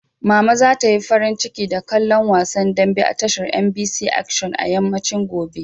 Mama za ta yi farin ciki da kallon wasan dambe a tashar MBC Action a yammacin gobe.